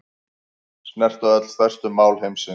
Snerta öll stærstu mál heimsins